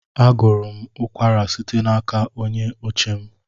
Agụrụ m ụkwara site n'aka onye oche m.